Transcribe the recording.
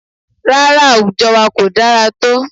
Rárá, àwùjọ wa ko dára tó